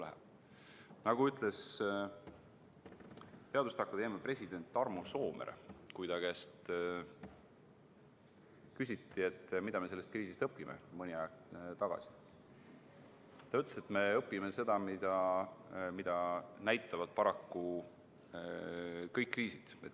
Mõni aeg tagasi ütles teaduste akadeemia president Tarmo Soomere, kui ta käest küsiti, mida me sellest kriisist õpime, et me õpime seda, mida näitavad paraku kõik kriisid.